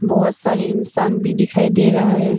बहुत सारे इंसान भी दिखाई दे रहा है।